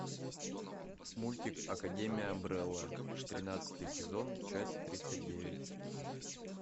мультик академия амбрелла тринадцатый сезон часть тридцать девять